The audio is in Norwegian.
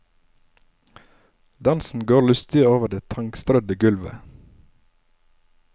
Dansen går lystig over det tangstrødde gulvet.